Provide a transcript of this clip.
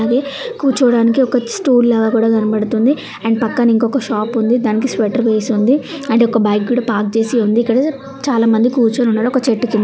ఉన్నాది కూర్చోవడానికి ఒక స్టూల్ లాగా కూడా కనబడుతోంది. అండ్ పక్కన ఇంకొక షాప్ ఉంది. దానికి స్వెటర్ వేసి ఉంది. అండ్ ఒక బైక్ కూడా పార్క్ చేసి ఉంది. అండ్ ఇక్కడ చాలామంది కూర్చొని ఉన్నారు. ఒక చెట్టు కిం--